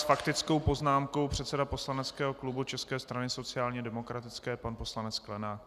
S faktickou poznámkou předseda poslaneckého klubu České strany sociálně demokratické, pan poslanec Sklenák.